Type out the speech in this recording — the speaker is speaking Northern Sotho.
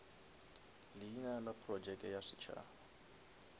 leina la projeke ya setšhaba